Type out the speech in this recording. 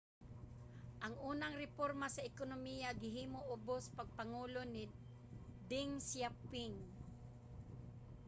ang unang reporma sa ekonomiya gihimo ubos sa pagpangulo ni deng xiaoping